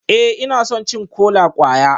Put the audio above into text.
Ee, ina son cin kola-kwaya